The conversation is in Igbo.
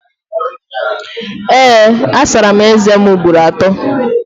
Ee, asara m ézēm ugboro atọ